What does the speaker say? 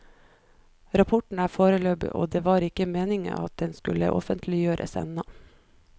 Rapporten er foreløpig og det var ikke meningen at den skulle offentliggjøres enda.